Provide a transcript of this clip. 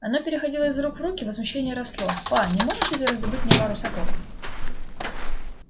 оно переходило из рук в руки возмущение росло па не можешь ли ты раздобыть мне пару сапог